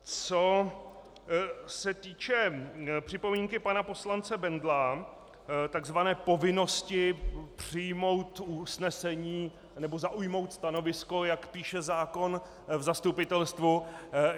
Co se týče připomínky pana poslance Bendla, tzv. povinnosti přijmout usnesení nebo zaujmout stanovisko, jak píše zákon, v zastupitelstvu.